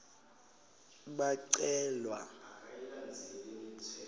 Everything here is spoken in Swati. bacelwa